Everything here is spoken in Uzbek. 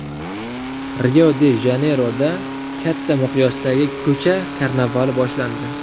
Rio-de-Janeyroda katta miqyosdagi ko‘cha karnavali boshlandi .